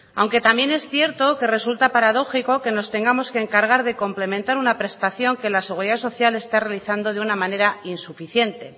aunque también es cierto que resulta paradójico que nos tengamos que encargar de complementar una prestación que la seguridad social está realizando de una manera insuficiente